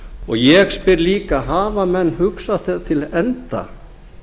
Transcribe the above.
og ég spyr líka hafa menn hugsað það til enda